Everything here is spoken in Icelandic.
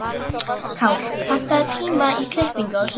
Kár, pantaðu tíma í klippingu á sunnudaginn.